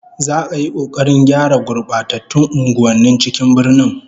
Za'a yi kokarin gyara gurbatattun unguwannin cikin birnin